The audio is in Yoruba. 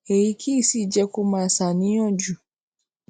èyí kì í sì í jé kó máa ṣàníyàn jù